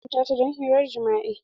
Za a hukunta ta don hirar jima'i.